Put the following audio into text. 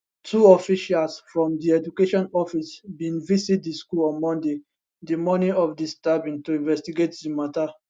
two officials from di education office bin visit di school on monday di morning of di stabbing to investigate di matter